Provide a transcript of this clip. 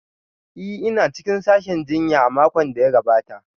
Ee, ina cikin sashin jinya a makon da ya gabata